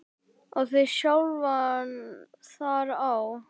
og þig sjálfan þar á.